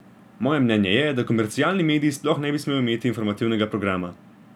Moje mnenje je, da komercialni medij sploh ne bi smel imeti informativnega programa.